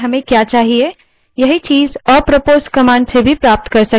यही चीज़ apropos command का उपयोग कर भी प्राप्त कर सकते हैं